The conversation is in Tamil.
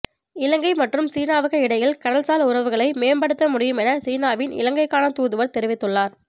இலங்கை மற்றும் சீனாவுக்கு இடையில் கடல்சார் உறவுகளை மேம்படுத்தமுடியும் என சீனாவின் இலங்கைக்கான தூதுவர் தெரிவித்துள்ளார்